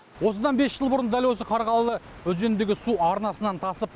осыдан бес жыл бұрын дәл осы қарғалы өзеніндегі су арнасынан тасып